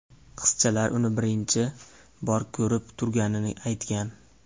Qizchalar uni birinchi bor ko‘rib turganini aytgan.